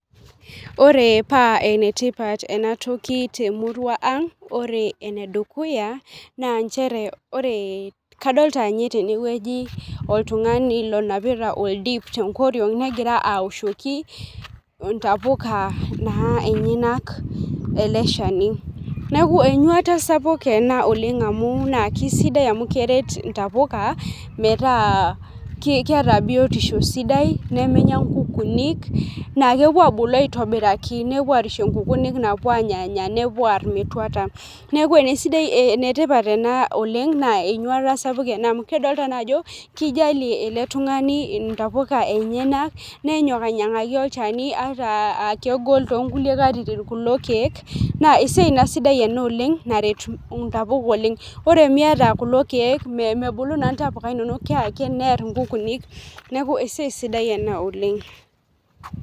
Ore paa enetipat enatoki temurua ang ore enedukuya naa nchere ore kadolta inye tenewueji oltung'ani lonapita oldip tenkoriong negira awoshoki intapuka naa enyenak ele shani neeku enyuata sapuk ena oleng amu naa kisidai amu keret intapuka metaa ki keeta biotisho sidai nemenya nkukunik naa kepuo abulu aitobiraki nepuo arishie inkukunik napuo anyanya nepuo arr metuata neku enesidai enetipat ena oleng naa enyuata sapuk ena amu kedolta naa ajo kijalie ele tung'ani intapuka enyenak nenyok ainyiang'aki olchani ata akegol tonkulie katitin kulo kiek naa esiai naa sidai ena oleng naret intapuka oleng ore miata kulo keek mebulu naa intapuka inonok keake nerr inkukunik neeku esiai sidai ena oleng.